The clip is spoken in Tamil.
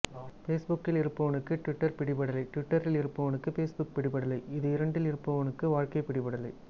ஃபேஸ்புக்கில் இருப்பவனுக்கு டிவிட்டர் பிடிபடலை டிவிட்டரில் இருப்பவனுக்கு ஃபேஸ்புக் பிடிபடலை இது இரண்டிலும் இருப்பவனுக்கு வாழ்க்கை பிடிபடலை